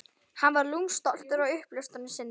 Hann var lúmskt stoltur af uppljóstrun sinni.